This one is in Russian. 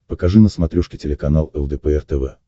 покажи на смотрешке телеканал лдпр тв